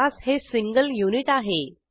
class हे single unit आहे